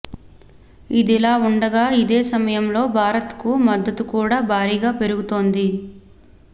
ఇదిలా ఉంటే ఇదే సమయంలో భారత్ కు మద్దతు కూడా భారీగా పెరుగుతోంది